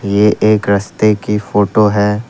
ये एक रस्ते की फोटो है।